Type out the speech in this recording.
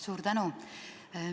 Suur tänu!